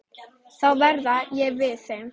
Þá verð ég við þeim.